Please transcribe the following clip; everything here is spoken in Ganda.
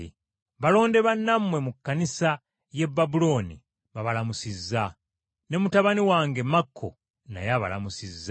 Balonde bannammwe mu kkanisa y’e Babulooni, babalamusizza. Ne mutabani wange Makko naye abalamusizza.